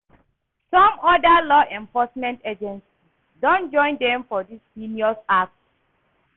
Some of oda law enforcement agencies don join dem for dis heinous act.